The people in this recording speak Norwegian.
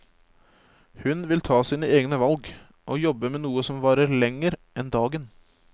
Hun vil ta sine egne valg, og jobbe med noe som varer lenger enn dagen.